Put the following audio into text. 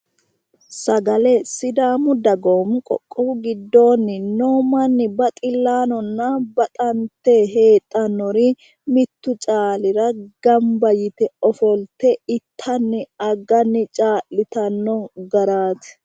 Sagale. Sidaamu dagoomu qoqqowu giddoonni noo manni baxillunninna baxante heedhannori mittu caalira gamba yite ofolte itanni agganni caa'litanno garaati.